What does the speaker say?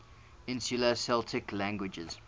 insular celtic languages